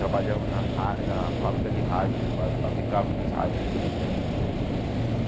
Trabalhamos na rá na fábrica de rádio, fa fabricava uns rádio grandão.